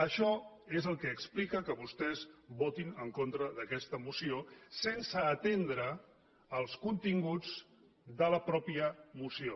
això és el que explica que vostès votin en contra d’aquesta moció sense atendre als continguts de la mateixa moció